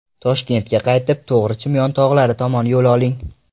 Toshkentga qaytib, to‘g‘ri Chimyon tog‘lari tomon yo‘l oling.